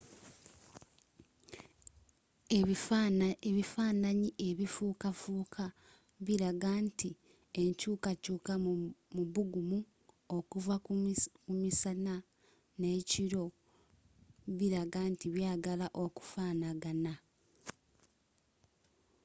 ebifananyi ebifuukafuuka bilaga nti enkyuukakyuuka mu bugumu okuva ku misana n'ekiro bilaga nti byagala okufanagana